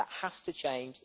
That has to change.